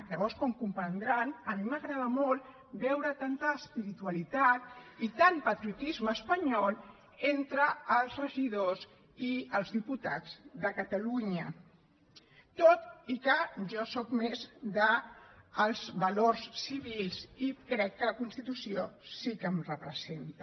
llavors com comprendran a mi m’agrada molt veure tanta espiritualitat i tant patriotisme espanyol entre els regidors i els diputats de catalunya tot i que jo sóc més dels valors civils i crec que la constitució sí que em representa